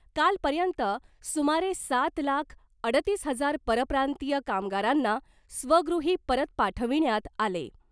कालपर्यंत सुमारे सात लाख अडतीस हजार परप्रांतीय कामगारांना स्वगृही परत पाठविण्यात आले .